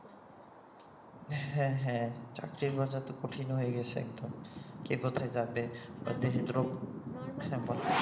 হ্যাঁ হ্যাঁ চাকরির বাজার তো কঠিন হয়ে গেছে একদম কে কোথায় যাবে এবং দেশে